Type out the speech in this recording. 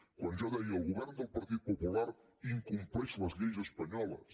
quan jo deia el govern del partit popular incompleix les lleis espanyoles